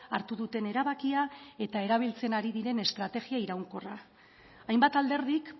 hartu duten erabakia eta erabiltzen ari diren estrategia iraunkorra hainbat alderdik